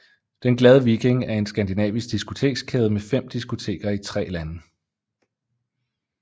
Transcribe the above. Den Glade Viking er en skandinavisk diskotekskæde med fem diskoteker i tre lande